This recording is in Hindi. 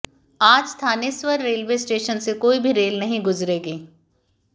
आज थानेसर रेलवे स्टेशन से कोई भी रेल नहीं गुजरेगी